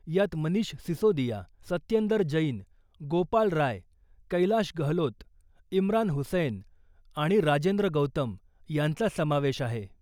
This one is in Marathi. यात मनिष सिसोदिया , सत्येंदर जैन , गोपाल राय , कैलाश गहलोत , इम्रान हुसैन आणि राजेंद्र गौतम यांचा समावेश आहे .